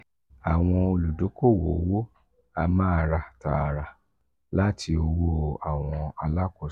awọn oludokoowo owo a ma ra taara lati um owo awọn alakoso.